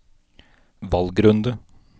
valgrunde